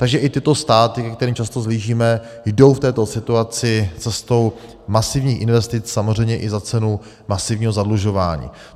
Takže i tyto státy, ke kterým často vzhlížíme, jdou v této situaci cestou masivních investic, samozřejmě i za cenu masivního zadlužování.